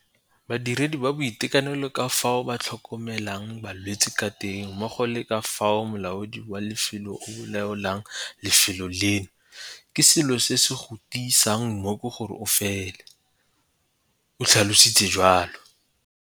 Badiredi ba boitekanelo ka fao ba tlhokomelang balwetse ka teng mmogo le ka fao molaodi wa lefelo a laolang lefelo leno - ke selo se se go tiisang mmooko gore o fole, o tlhalositse jalo.